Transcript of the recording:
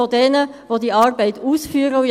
Ich habe es gestern schon ausgeführt: